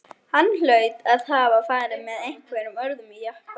Hann hlaut að hafa farið með einhverjum öðrum jeppa.